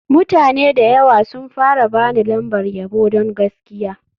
Mutane da yawa sun fara ba ni lambar yabo don gaskiya.